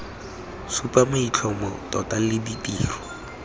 supa maitlhomo tota le ditiro